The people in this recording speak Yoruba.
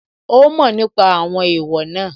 Ó mọ̀ nípa àwọn èèwọ̀ náà